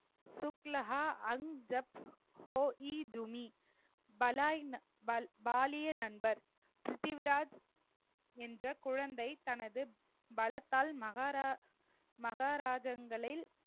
சுக்லஹா அஞ்ஜப் ஹோ ஈதுமி வலாயின வ~ வாலிய நண்பர் பிரிதிவிராஜ் என்ற குழந்தை தனது பலத்தால் மகாரா~ மகாராஜகங்களில்